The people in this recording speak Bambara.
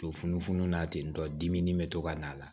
To funufunu na ten tɔ dimi nin bɛ to ka n'a la